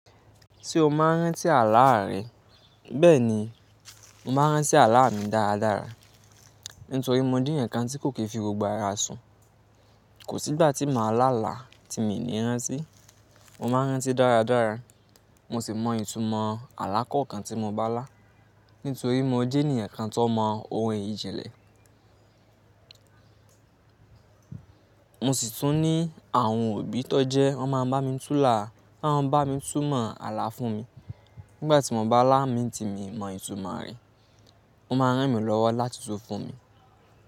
Tí o máa ń rántí àlá à rẹ, bẹ́ẹ̀ ni mo máa ń rántí àlá mi dáradára, nítorí mo jẹ́ ẹ̀ẹ̀yan kan tí kò kì n fi gbogbo ara sùn. Kò sí ìgbà tí màá lá là tí mi ní rántí. Mo máa ń rántí dáradára, mo sì mọ ìtumọ̀ àlá kọ̀ọ̀kan tí mo bá lá, nítorí mo jẹ́ ènìyàn kan tó mọ ohun ìjìnlẹ̀. Mo sì tún ní àwọn òbí tó jẹ́ wọ́n máa ń bá mi túnlà, won máa ń bá mi túmọ̀ àlá fún mi nígbà tí mo bá lá mi tí mi mọ ìtumọ̀ rẹ. Wọ́n máa ń rán mi lọ́wọ́ láti tú fún mi.